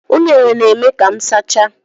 Unere na-eme ka m sachaa.